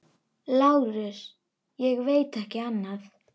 LÁRUS: Ég veit ekki annað.